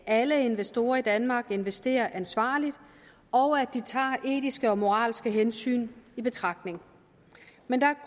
alle investorer i danmark investerer ansvarligt og at de tager etiske og moralske hensyn i betragtning men der er